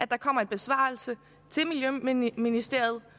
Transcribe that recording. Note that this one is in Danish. der kommer en besvarelse til miljøministeriet